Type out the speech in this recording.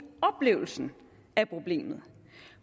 oplevelsen af problemet